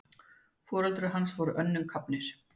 Foreldrar hans voru önnum kafnir.